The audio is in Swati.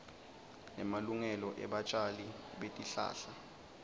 nemalungelo ebatjali betihlahla